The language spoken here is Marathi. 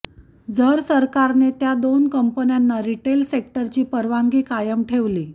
जर सरकारने त्या दोन कंपन्यांना रिटेल सेक्टरची परवानगी कायम ठेवली